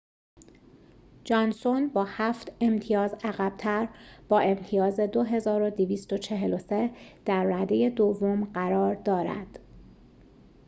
جانسون با هفت امتیاز عقب‌تر با امتیاز ۲,۲۴۳ در رده دوم قرار دارد